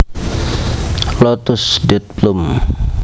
lotus Date plum